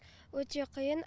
өте қиын